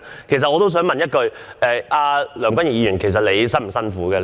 其實我也想問一句：梁君彥議員，這幾天你辛苦嗎？